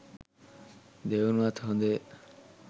දෙවනුවත් හොඳය.